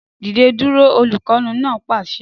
Dìde dúró! Olùkọ́ni náà pàṣẹ